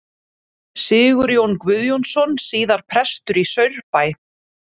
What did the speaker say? Sigurjón Guðjónsson, síðar prestur í Saurbæ.